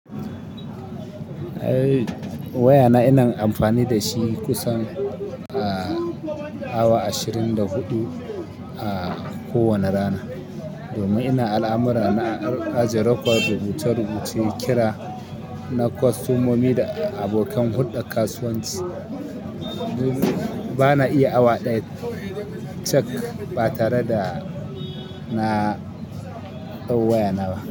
Waya na ina amfani da shi kusan, ah, awa ashirin da huɗu, ah, kowane rana. Domin ina al'amuran na ajiye record rubuta rubuce kira na kostomomi da abokan hudar kasuwanci. Ba na iya awa ɗaya cak ba tare da na dau waya na ba.